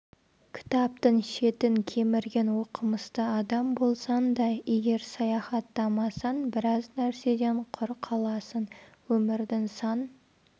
кітаптың шетін кемірген оқымысты адам болсаң да егер саяхаттамасаң біраз нәрседен құр қаласың өмірдің сан